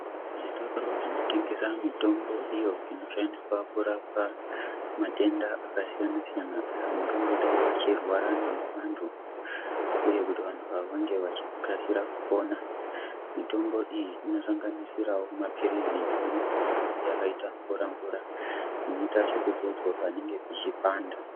Zvitoro zvinotengeswa mitombo iyo inoshandiswa kurapa matenda akasiyana siyana angangodai achirwara nawo vanhu Uye kuti vantu ava vange vachikasira kupora mitombo iyi inosanganisira neimweni inenge yakaita mvura mvura inoita zvekudzodzwa panenge pachipanda.